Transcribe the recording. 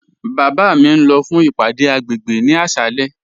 Baba mi n lọ fún ìpàdé agbègbè ni àṣàlẹ̀.